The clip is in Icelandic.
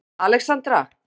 Alexandra